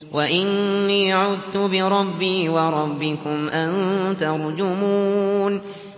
وَإِنِّي عُذْتُ بِرَبِّي وَرَبِّكُمْ أَن تَرْجُمُونِ